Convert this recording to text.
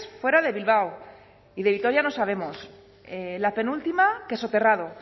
fuera de bilbao y de vitoria no sabemos la penúltima que soterrado